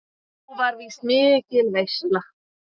Þá var víst mikil veisla.